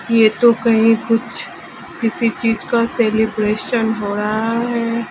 यह तो कहीं कुछ किसी चीज का सेलिब्रेशन हो रहा है।